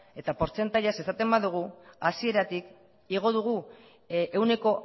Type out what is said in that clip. eta portzentaiaz esaten badugu hasieratik igo dugu ehuneko